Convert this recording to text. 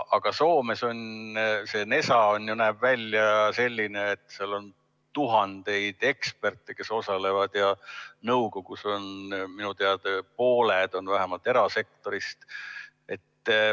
Aga Soomes see NESA näeb välja selline, et seal on tuhandeid eksperte, kes osalevad, ja nõukogus on minu teada pooled vähemalt erasektorist.